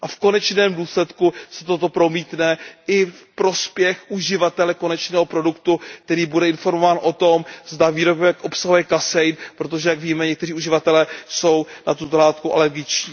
V konečném důsledku se toto promítne i v prospěch uživatele konečného produktu, který bude informován o tom, zda výrobek obsahuje kasein, protože jak víme, někteří uživatelé jsou na tuto látku alergičtí.